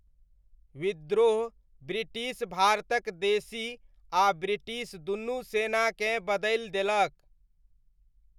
विद्रोह ब्रिटिश भारतक देशी आ ब्रिटिश दुनू सेनाकेँ बदलि देलक।